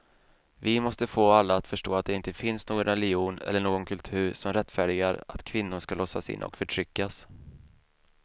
Vi måste få alla att förstå att det inte finns någon religion eller någon kultur som rättfärdigar att kvinnor ska låsas in och förtryckas.